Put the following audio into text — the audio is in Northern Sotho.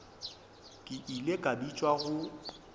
ke ile ka bitšwa go